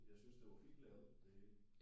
Jeg synes det var fint lavet det hele